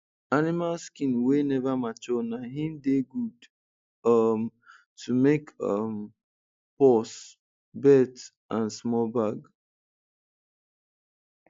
animal skin wey never mature na hin dey good um to make um purse belt and small bag